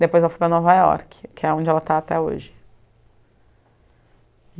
Depois ela foi para Nova York, que é onde ela está até hoje.